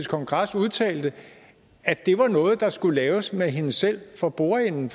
kongres udtalte at det var noget der skulle laves med hende selv for bordenden